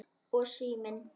Og síminn.